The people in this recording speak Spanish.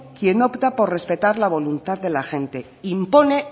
quien opta por respetar la voluntad de la gente impone